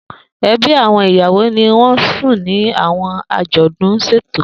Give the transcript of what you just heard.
Ebi awọn iyawo ni won sùn ni awọn ajodun ṣeto.